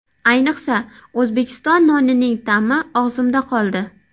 Ayniqsa, O‘zbekiston nonining ta’mi og‘zimda qoldi.